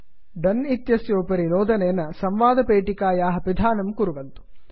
दोने डन् इत्यस्य उपरि नोदनेन संवादपेटिकायाः पिधानं कुर्वन्तु